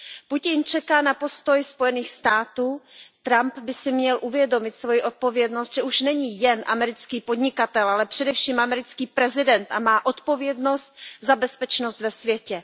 Putin čeká na postoj Spojených států, Trump by si měl uvědomit svoji odpovědnost, že už není jen americký podnikatel, ale především americký prezident a má odpovědnost za bezpečnost ve světě.